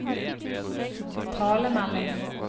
talemelding